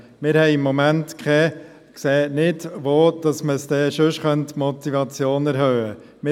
Wir sehen im Moment nicht, wo man denn die Motivation sonst erhöhen könnte.